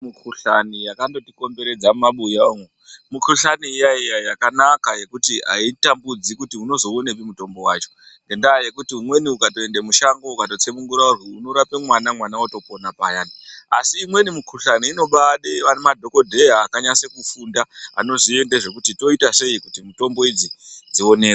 Mi kuhlani yaka ngoti komberedza mu mabuya umwo mi kuhlani iya iya yakanaka yekuti ayitambudzi kuti unozo onepi mutombo wacho ngenda yekuti umweni ukato ende mushango ukato tsunungura unoto rape mwana mwana oto pona paya asi imweni mi kuhlani inoda madhokodheya aka nyase kufunda anoziye ngezve kuti toita sei kuti mitombo idzi dzionekwe.